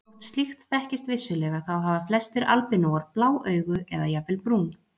Þótt slíkt þekkist vissulega þá hafa flestir albínóar blá augu eða jafnvel brún.